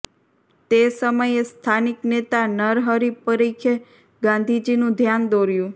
તે સમયે સ્થાનિક નેતા નરહરિ પરીખે ગાંધીજીનું ધ્યાન દોર્યું